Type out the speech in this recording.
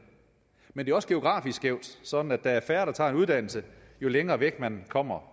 men det er også geografisk skævt sådan at der er færre der tager en uddannelse jo længere væk man kommer